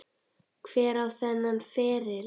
Hver á þennan feril?